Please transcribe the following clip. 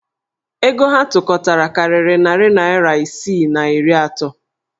Ego ha tụkọtara karịrị narị naịra isi na iri atọ.